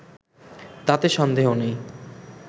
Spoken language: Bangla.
তাতে সন্দেহ নেই